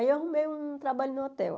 Aí eu arrumei um trabalho no hotel.